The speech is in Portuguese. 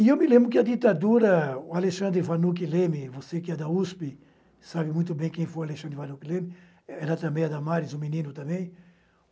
E eu me lembro que a ditadura, o Alexandre Vanucchi Leme, você que é da USP, sabe muito bem quem foi o Alexandre Vanucchi Leme, era também Adamares, um menino também.